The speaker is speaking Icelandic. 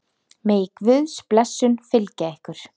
Megi Guðs blessun fylgja ykkur.